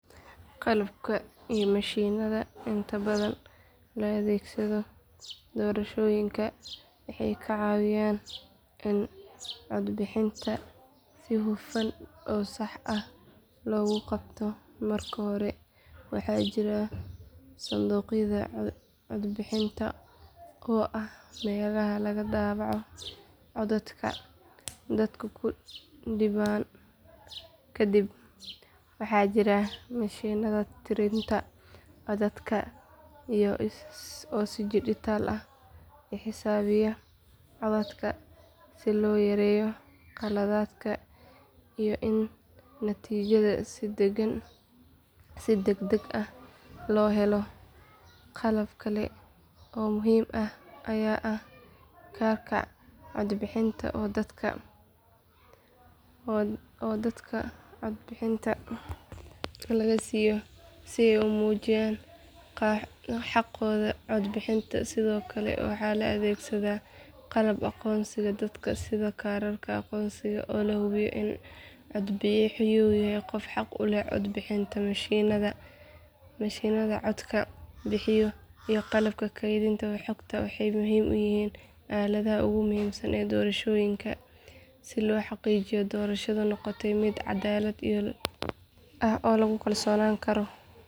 Qalabka iyo mishiinada inta badan la adeegsado doorashooyinka waxay ka caawiyaan in codbixinta si hufan oo sax ah loo qabto marka hore waxaa jira sanduuqyada codbixinta oo ah meelaha lagu daabaco codadka dadku ku dhiibaan kadib waxaa jira mishiinada tirinta codadka oo si dhijitaal ah u xisaabiya codadka si loo yareeyo khaladaadka iyo in natiijada si degdeg ah loo helo qalab kale oo muhiim ah ayaa ah kaararka codbixinta oo dadka laga siiyo si ay u muujiyaan xaqooda cod bixinta sidoo kale waxaa la adeegsadaa qalabka aqoonsiga dadka sida kaararka aqoonsiga oo la hubiyo in codbixiyuhu yahay qof xaq u leh cod bixinta mishiinada codka codbixinta iyo qalabka kaydinta xogta waxay ka mid yihiin aaladaha ugu muhiimsan ee doorashooyinka si loo xaqiijiyo in doorashadu noqoto mid cadaalad ah oo lagu kalsoonaan karo.